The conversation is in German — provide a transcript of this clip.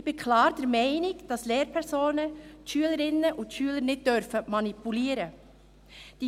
Ich bin klar der Meinung, dass Lehrpersonen die Schülerinnen und Schüler nicht manipulieren dürfen.